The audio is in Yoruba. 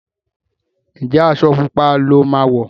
Njé Aṣọ pupa ló má wọ?